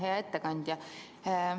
Hea ettekandja!